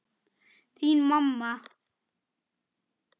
Þín, mamma.